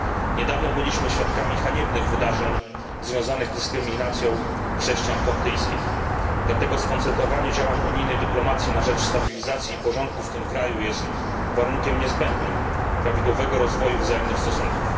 Niedawno byliśmy świadkami haniebnych wydarzeń związanych z dyskryminacją chrześcijan koptyjskich, dlatego skoncentrowanie działań unijnej dyplomacji na rzecz stabilizacji i porządku w tym kraju jest warunkiem niezbędnym prawidłowego rozwoju wzajemnych stosunków.